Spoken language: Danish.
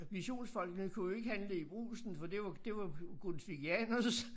Missionsfolkene kunne jo ikke handle i Brugsen for det var det var grundtvigianernes